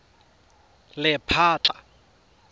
lephatla